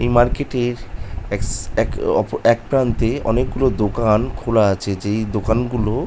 এই মার্কেট -এর একসা এক ওপর একপ্রান্তে অনেকগুলো দোকান খোলা আছে যেই দোকানগুলো